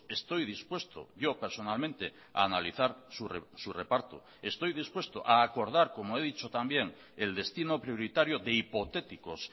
estoy dispuesto yo personalmente a analizar su reparto estoy dispuesto a acordar como he dicho también el destino prioritario de hipotéticos